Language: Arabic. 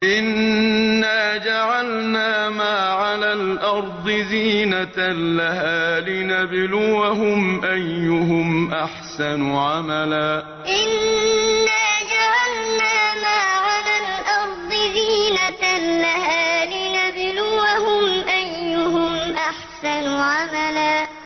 إِنَّا جَعَلْنَا مَا عَلَى الْأَرْضِ زِينَةً لَّهَا لِنَبْلُوَهُمْ أَيُّهُمْ أَحْسَنُ عَمَلًا إِنَّا جَعَلْنَا مَا عَلَى الْأَرْضِ زِينَةً لَّهَا لِنَبْلُوَهُمْ أَيُّهُمْ أَحْسَنُ عَمَلًا